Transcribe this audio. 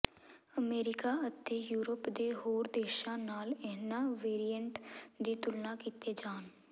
America ਅਤੇ Europe ਦੇ ਹੋਰ ਦੇਸ਼ਾਂ ਨਾਲ ਇਨ੍ਹਾਂ ਵੇਰੀਏਂਟ ਦੀ ਤੁਲਨਾ ਕੀਤੇ ਜਾਣ